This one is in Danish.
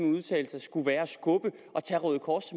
en udtalelse skulle være at tage røde kors